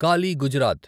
Kali Gujarat